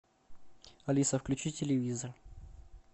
алиса включи телевизор